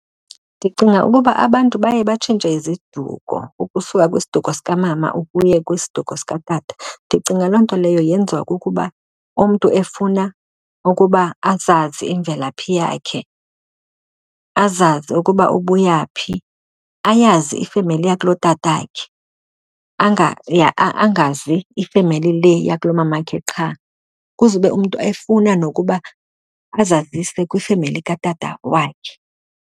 Ndicinga ukuba abantu baye batshintshe iziduko ukusuka kwisiduko sikamama ukuya kwisiduko sikatata. Ndicinga loo nto leyo yenziwa kukuba umntu efuna ukuba azazi imvelaphi yakhe, azazi ukuba ubuya phi. Ayazi ifemeli yakulotatakhe, angazi ifemeli le yakulomamakhe qha. Kuzube umntu efuna nokuba azazise kwifemeli katata wakhe.